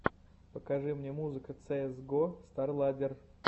покажи мне музыка цеэс го старладдер